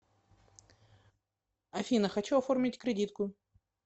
афина хочу оформить кредитку